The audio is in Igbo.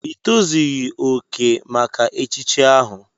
Ị tozughị oke maka echichi ahu!